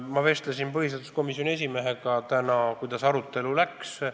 Ma vestlesin täna põhiseaduskomisjoni esimehega teemal, kuidas arutelu läks.